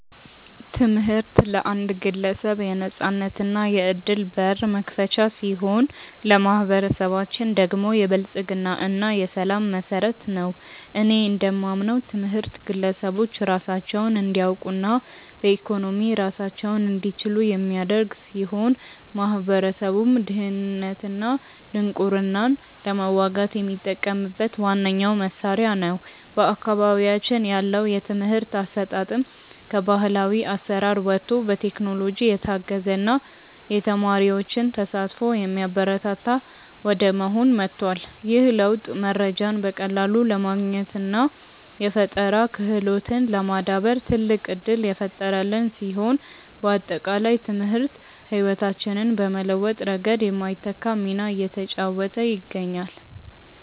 ትምህርት ለአንድ ግለሰብ የነፃነትና የዕድል በር መክፈቻ ሲሆን፣ ለማኅበረሰባችን ደግሞ የብልጽግና እና የሰላም መሠረት ነው። እኔ እንደማምነው ትምህርት ግለሰቦች ራሳቸውን እንዲያውቁና በኢኮኖሚ ራሳቸውን እንዲችሉ የሚያደርግ ሲሆን፣ ማኅበረሰቡም ድህነትንና ድንቁርናን ለመዋጋት የሚጠቀምበት ዋነኛው መሣሪያ ነው። በአካባቢያችን ያለው የትምህርት አሰጣጥም ከባሕላዊ አሠራር ወጥቶ በቴክኖሎጂ የታገዘና የተማሪዎችን ተሳትፎ የሚያበረታታ ወደ መሆን ተለውጧል። ይህ ለውጥ መረጃን በቀላሉ ለማግኘትና የፈጠራ ክህሎትን ለማዳበር ትልቅ ዕድል የፈጠረልን ሲሆን፣ ባጠቃላይ ትምህርት ሕይወታችንን በመለወጥ ረገድ የማይተካ ሚና እየተጫወተ ይገኛል።